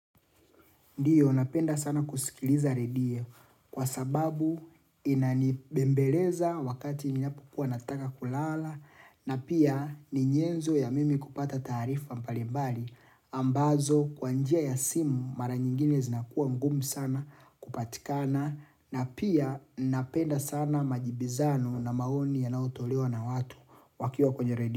Ndiyo napenda sana kusikiliza redio kwa sababu inanibembeleza wakati ninapo kuwa nataka kulala na pia ninyenzo ya mimi kupata tarifa mpalimbali ambazo kwa njia ya simu mara nyingine zinakuwa mgum sana kupatikana na pia napenda sana majibizano na maoni ya natolewa na watu wakio kwenye redie.